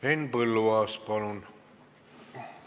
Henn Põlluaas, palun!